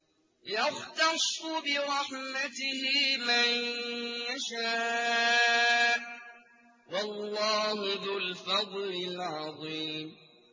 يَخْتَصُّ بِرَحْمَتِهِ مَن يَشَاءُ ۗ وَاللَّهُ ذُو الْفَضْلِ الْعَظِيمِ